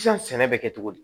Sisan sɛnɛ bɛ kɛ cogo di